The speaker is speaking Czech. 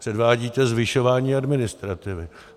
Předvádíte zvyšování administrativy.